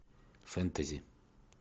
фэнтези